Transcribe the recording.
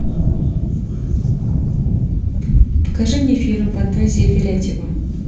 покажи мне фильм фантазии фарятьева